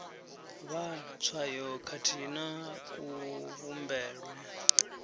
vhala tswayo khathihi na kuvhumbelwe